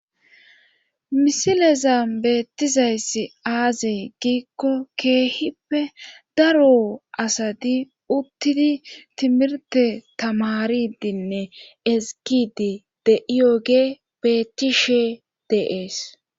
misilezan beettizayssi azee giikko keehippe daro asati uttidii timirte tamaaridinne eskidi de'iyoge betishe de'ees